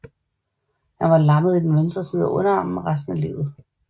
Han var lammet i den venstre underarm resten af livet